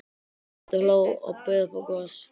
Tóti hló og bauð upp á gos.